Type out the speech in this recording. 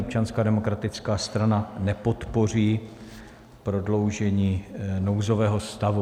Občanská demokratická strana nepodpoří prodloužení nouzového stavu.